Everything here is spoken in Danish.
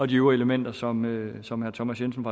de øvrige elementer som som herre thomas jensen